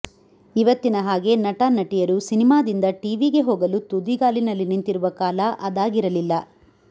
ಇವತ್ತಿನ ಹಾಗೆ ನಟ ನಟಿಯರು ಸಿನೆಮಾದಿಂದ ಟಿವಿಗೆ ಹೋಗಲು ತುದಿಗಾಲಿನಲ್ಲಿ ನಿಂತಿರುವ ಕಾಲ ಅದಾಗಿರಲಿಲ್ಲ